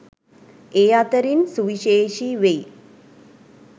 ඒ අතරින් සුවිශේෂී වෙයි.